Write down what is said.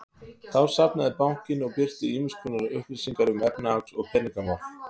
Þá safnar bankinn og birtir ýmiss konar upplýsingar um efnahags- og peningamál.